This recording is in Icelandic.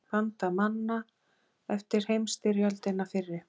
Bandamanna eftir heimsstyrjöldina fyrri.